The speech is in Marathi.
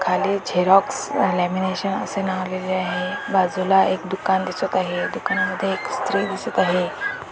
खाली झेरॉक्स लॅमिनेशन असे नाव लिहिलेले आहे बाजूला एक दुकान दिसत आहे दुकानामध्ये एक स्त्री दिसत आहे.